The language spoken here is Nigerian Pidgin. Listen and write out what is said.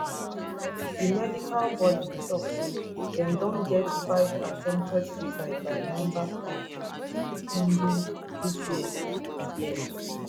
di medical bodi tok say dem don get five attempted suicides by members of kmpdu dis year year